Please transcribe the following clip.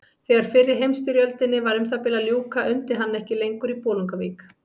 Þegar fyrri heimsstyrjöldinni var um það bil að ljúka undi hann ekki lengur í Bolungarvík.